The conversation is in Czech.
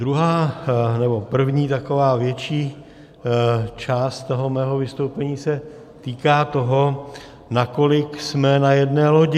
Druhá, nebo první taková větší část toho mého vystoupení se týká toho, nakolik jsme na jedné lodi.